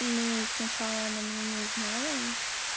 ну сначала она меня не узнала